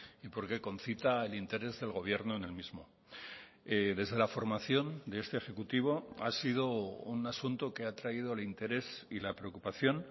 y porque concita el interés del gobierno en el mismo desde la formación de este ejecutivo ha sido un asunto que ha atraído el interés y la preocupación